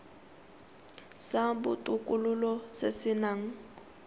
sa botokololo se se nang